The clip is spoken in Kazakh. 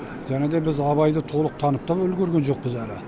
және де біз абайды толық танып та үлгерген жоқпыз әлі